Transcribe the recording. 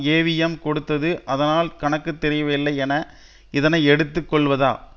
AVM கொடுத்தது அதனால் கணக்கு தெரியவில்லை என இதனை எடுத்து கொள்வதா